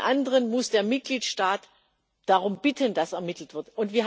Bei allen anderen muss der Mitgliedstaat darum bitten, dass ermittelt wird.